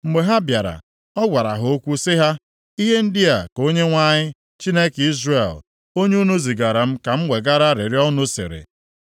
Mgbe ha bịara, ọ gwara ha okwu sị ha, “Ihe ndị a ka Onyenwe anyị, Chineke Izrel, onye unu zigara m ka m wegara arịrịọ unu, sịrị: